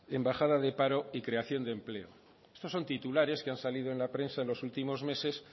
en bajada de paro y creación de empleo esto son titulares que han salido en la prensa en los últimos meses